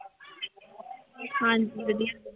ਹਾਂਜੀ ਵਧੀਆ।